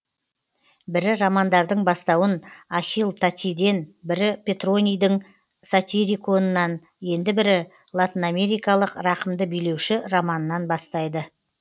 бірі романдардың бастауын ахил татийден бірі петронийдің сатириконынан енді бірі латынамерикалық рақымды билеуші романынан бастайды